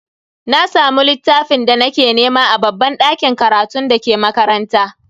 Na samu littafin da nake nema a babban dakin karatun dake makaranta.